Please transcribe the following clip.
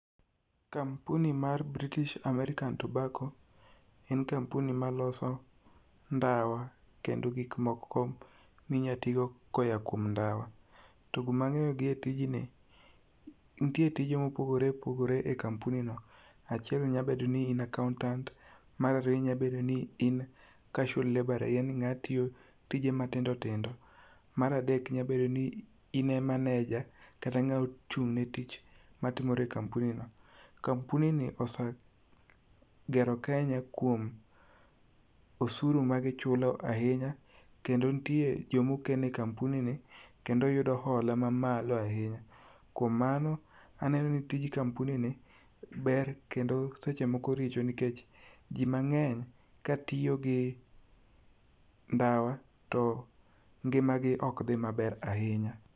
Kampuni mar British American Tobacco, en kampuni maloso ndawa kendo gik moko minyatigo koya kuom ndawa. To gumag'eyo gi e tijni, nitie tije mopogre opogre e kampuni no. Achiel nyabedo ni in accountant, mar ariyo inyabedo ni in casual laborer yaani ng'a tiyo tije matindotido, mar adek inyabedo ni in e manager kata ng'a ochung' ne tich matimore e kampuni no. Kampuni ni osa gero Kenya kuom osuru magichulo ahinya, kendo nitie jomokene e kampuni ni kendo yudo hola mamalo ahinya. Kuom mano, aneno ni tij kampuni ni ber kendo seche moko richo nikech jimang'eny katiyo gi ndawa to ngima gi ok dhi maber ahinya